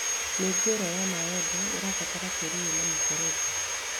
Mĩũngũrwa ya mĩembe ĩbataraga tĩĩri wĩna mĩberethi